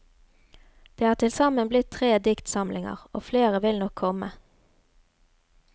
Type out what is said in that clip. Det er til sammen blitt tre diktsamlinger, og flere vil nok komme.